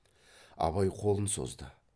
абай қолын созды